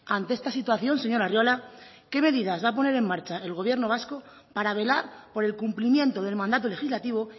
ante esta situación señor arriola qué medidas va a poner en marcha el gobierno vasco para velar por el cumplimiento del mandato legislativo